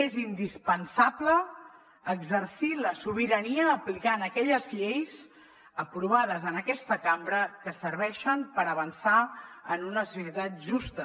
és indispensable exercir la sobirania aplicant aquelles lleis aprovades en aquesta cambra que serveixen per avançar en una societat justa